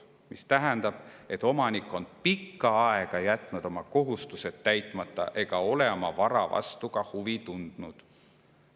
tähendab see, et omanik on pikka aega jätnud oma kohustused täitmata ega ole oma vara vastu huvi tundnud.